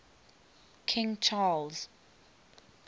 king charles